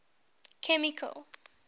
chemical